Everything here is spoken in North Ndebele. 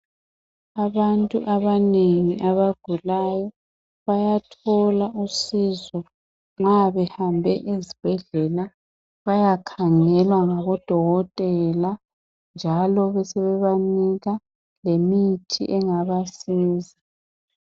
Abantu abanengi abagulayo bayathola usizo ma behambe ezibhedlela bayakhangelwa ngabo dokotela njalo besebanika lemithi engabasiza.